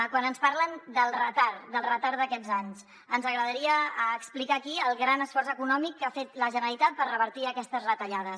quan ens parlen del retard del retard d’aquests anys ens agradaria explicar aquí el gran esforç econòmic que ha fet la generalitat per revertir aquestes retallades